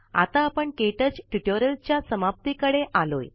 आता आपण K touch tutorial च्या समाप्ती कडे आलोय